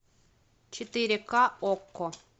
четыре ка окко